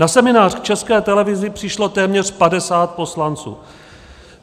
Na seminář k České televizi přišlo téměř 50 poslanců.